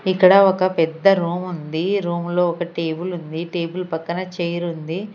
ఇక్కడ ఒక పెద్ద రూమ్ ఉంది రూమ్ లో ఒక టేబుల్ ఉంది టేబుల్ పక్కన చైర్ ఉంది.